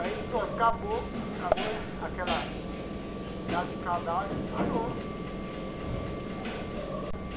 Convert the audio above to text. Aí, pronto, acabou acabou aquela punhado de cadáver e parou.